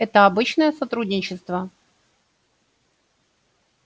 это обычное сотрудничество